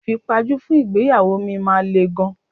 Ìfipajú fún ìgbéyàwó mi máa le gan.